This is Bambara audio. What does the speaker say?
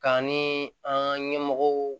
K'an ni an ka ɲɛmɔgɔw